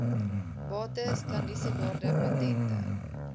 bates klandisiewaarde patente